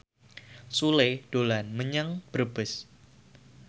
Sule dolan menyang Brebes